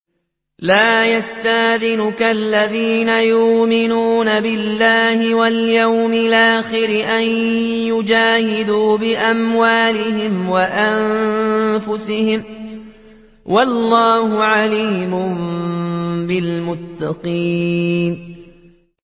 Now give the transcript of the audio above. لَا يَسْتَأْذِنُكَ الَّذِينَ يُؤْمِنُونَ بِاللَّهِ وَالْيَوْمِ الْآخِرِ أَن يُجَاهِدُوا بِأَمْوَالِهِمْ وَأَنفُسِهِمْ ۗ وَاللَّهُ عَلِيمٌ بِالْمُتَّقِينَ